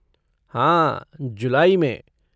हाँ, जुलाई में।